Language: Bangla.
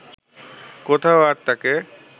কোথাও আর তাকে